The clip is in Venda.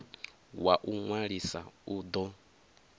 wa u ṅwalisa u ḓo